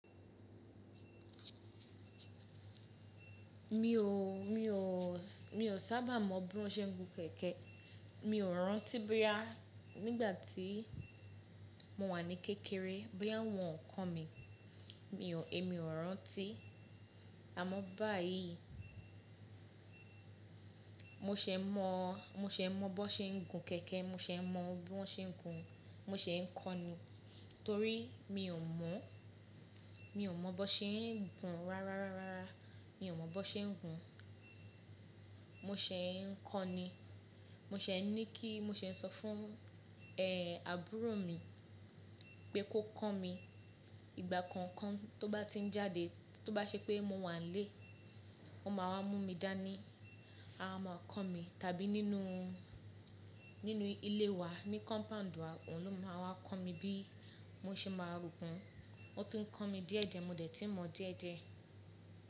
Mi ò, mi ò, mi ò sábà mọ bí wọ́n ṣe ń gun kẹ̀kẹ́. Mi ò rántí boya nígbà tí mo wà ní kékeré, boya won ko mi. Èmi ò rántí. Àmọ́ báyìí mo ṣe e mọ, mo ṣe e mọ bó ṣe ń gun kẹ̀kẹ́, mo ṣe e mọ bí wọ́n ṣe ń gun, mo ṣe ń kọ́ ni. Torí mi ò mọ̀, mi ò mọ bó ṣe ń gun rárá rárá rárá. Mi ò mọ bó ṣe ń gun. Mo ṣẹ̀ ń kọ́ ni. Mo ṣẹ̀ n ní kí, mo ṣẹ̀ sọ fún, ẹ́, àbúrò mi pé kó kọ́ mi. Ìgbà kankan tó bá ti ń jáde, tó bá ṣe pé mo wà n lé, o máa wá mú mi dání, a máa kọ́ mi. Tàbí nínú, nínú ilé wa ní compound wa, òun ló máa wá kọ́ mi bí mo ṣe máa gun. Ó ti ń kọ́ mi díẹ̀díẹ̀, mo dẹ̀ tí n mọ díẹ̀díẹ̀.